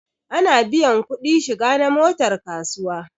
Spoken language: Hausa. Ana biyan kuɗi shiga na motar kasuwa